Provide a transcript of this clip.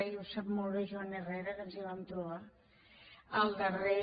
i ho sap molt bé joan herrera que ens hi vam trobar el darrer